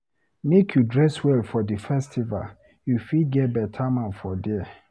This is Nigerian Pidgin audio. Make you dress well for di festival, you fit find beta man for there.